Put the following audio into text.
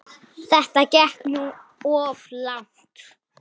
Þetta gekk nú of langt.